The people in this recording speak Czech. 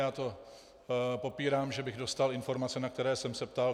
Já to popírám, že bych dostal informace, na které jsem se ptal.